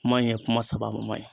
Kuma in ɲe kuma sababama ye.